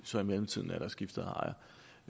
så i mellemtiden har skiftet ejer